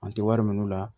An tɛ wari minɛ olu la